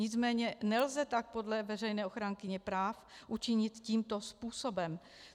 Nicméně nelze tak podle veřejné ochránkyně práv učinit tímto způsobem.